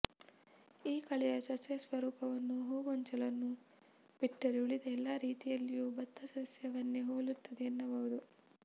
ಈ ಕಳೆಯ ಸಸ್ಯ ಸ್ವರೂಪವು ಹೂಗೊಂಚಲನ್ನು ಬಿಟ್ಟರೆ ಉಳಿದ ಎಲ್ಲಾ ರೀತಿಯಲ್ಲಿಯೂ ಬತ್ತ ಸಸ್ಯವನ್ನೇ ಹೋಲುತ್ತದೆ ಎನ್ನಬಹುದು